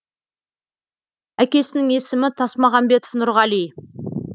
әкесінің есімі тасмағамбетов нұрғали